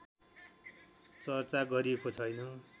चर्चा गरिएको छैन